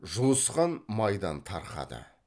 жұлысқан майдан тарқады